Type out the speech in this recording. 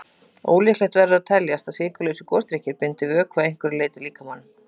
Ólíklegt verður að teljast að sykurlausir gosdrykkir bindi vökva að einhverju marki í líkamanum.